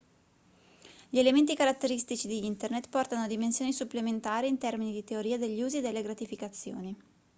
gli elementi caratteristici di internet portano a dimensioni supplementari in termini di teoria degli usi e delle gratificazioni